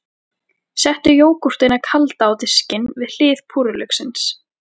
Settu jógúrtina kalda á diskinn, við hlið púrrulauksins.